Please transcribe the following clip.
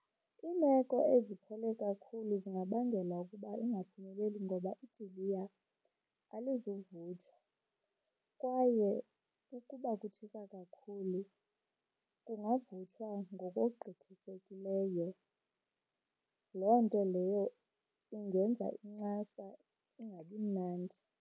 Iimeko eziphole kakhulu zingabangela ukuba ingaphumeleli ngoba idiliya alizuvuthwa kwaye ukuba kutshisa kakhulu kungavuthwa ngokogqithisekileyo, loo nto leyo ingenza incasa ingabi mnandi.